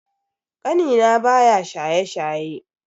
Kanina baya shaye-shaye.